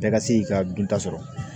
Bɛɛ ka se k'i ka dunta sɔrɔ